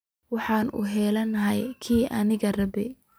Waxan hulaneyna kii anaka rabno.